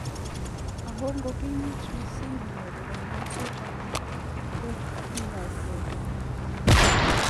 Ako ngo kimit mising inyoru kanyaishet ana ko enyeset ab borto.